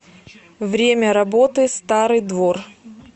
время работы старый двор